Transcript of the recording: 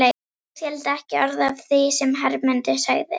Ég skildi ekki orð af því sem Hermundur sagði.